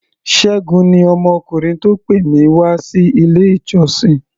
Ṣẹ́gun ni ọmọkùnrin tó pè mí wá sí ilé-ìjọsìn.